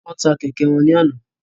Wọn tà kẹkẹ wọn ní àna